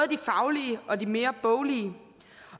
de faglige og de mere boglige